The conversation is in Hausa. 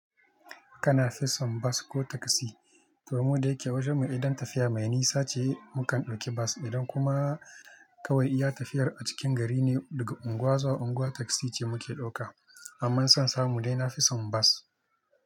Kana fison bus ko taxi? To, mu da yake wajen mu idan tafiya mai nisa ce mukan ɗauki bus. Idan kuma kawai iya tafiyar a cikin gari ne, daga unguwa zuwa unguwa taxi ce muke ɗauka. Amma insan samu dai nafison bus.